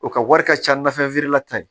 O ka wari ka ca na fɛn feerela ta ye